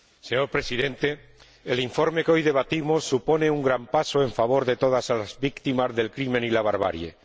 Señor Presidente, el informe que hoy debatimos supone un gran paso en favor de todas las víctimas del crímen y la barbarie.